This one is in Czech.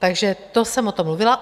Takže to jsem o tom mluvila.